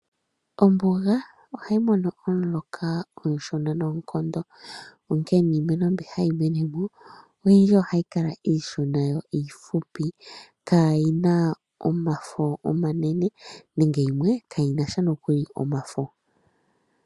Ombuga ohayi mono omuloka omushona noonkondo onkene niimeno mbi hayi mene mo oyindji ohayi kala iishona yo iifupi kaayina omafo omanene nenge yimwe kaayinasha nokuli omafo.